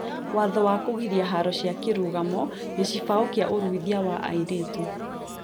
Watho wa kũgiria haro cia kĩrũgamo gĩcibao kĩa ũruithia wa airĩtũ